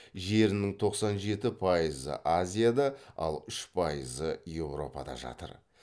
жерінің тоқсан жеті пайызы азияда ал үш пайызы еуропада жатыр